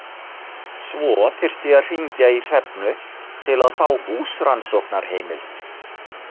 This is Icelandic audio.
Svo þyrfti að hringja í Hrefnu til að fá húsrannsóknarheimild.